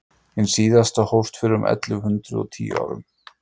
hin síðasta hófst fyrir um ellefu hundrað og tíu árum